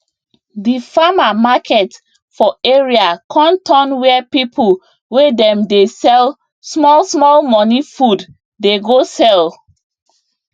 di farmer market for area con turn where people wey dem dey sell small small money food dey go sell